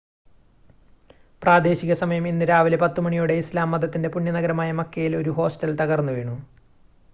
പ്രാദേശിക സമയം ഇന്ന് രാവിലെ 10 മണിയോടെ ഇസ്‌ലാം മതത്തിൻ്റെ പുണ്യനഗരമായ മക്കയിൽ ഒരു ഹോസ്റ്റൽ തകർന്നുവീണു